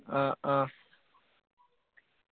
അഹ് അഹ്